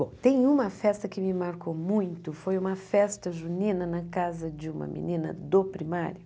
Bom, tem uma festa que me marcou muito, foi uma festa junina na casa de uma menina do primário.